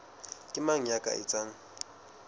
ke mang ya ka etsang